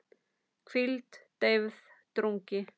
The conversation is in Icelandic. hvíld, deyfð, drungi